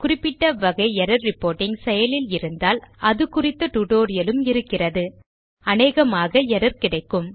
குறிப்பிட வகை error reporting செயலில் இருந்தால் அது குறித்த டியூட்டோரியல் உம் இருக்கிறது அனேகமாக எர்ரர் கிடைக்கும்